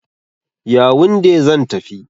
Yawunde zan tafi.